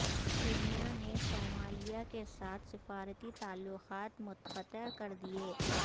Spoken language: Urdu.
کینیا نے صومالیہ کے ساتھ سفارتی تعلقات منقطع کر دئیے